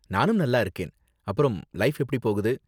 நானும் நல்லா இருக்கேன். அப்பறம் லைஃப் எப்படி போகுது?